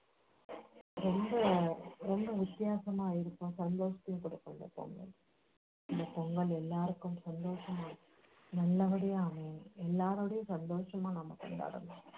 ரொம்ப ரொம்ப வித்தியாசமாயிருக்கும் சந்தோஷத்தையும் கொடுக்கும் இந்த பொங்கல் இந்த பொங்கல் எல்லாருக்கும் சந்தோஷமும் நல்லபடியா எல்லாரோடையும் அமையணும் எல்லாரோடையும் சந்தோஷமா நம்ம கொண்டாடணும்